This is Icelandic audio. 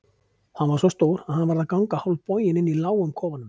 Hann var svo stór að hann varð að ganga hálfboginn inni í lágum kofanum.